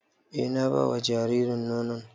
E na ba wa jaririn nono